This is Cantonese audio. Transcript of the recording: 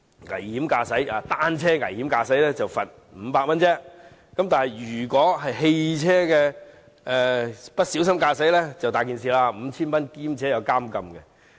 危險駕駛單車，只罰500元；不小心駕駛汽車便很麻煩了，會被判罰 5,000 元及被監禁。